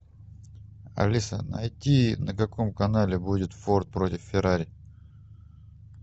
алиса найди на каком канале будет форд против феррари